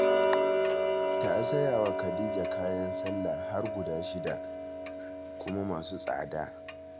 Ta saya wa Khadija kayan sallah har guda shida, kuma masu tsada